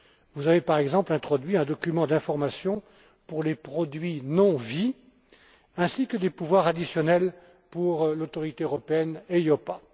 Vous avez, par exemple, introduit un document d'information pour les produits non vie, ainsi que des pouvoirs additionnels pour l'autorité européenne EIOPA.